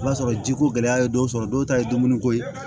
I b'a sɔrɔ jiko gɛlɛya ye dɔw sɔrɔ dɔw ta ye dumuniko ye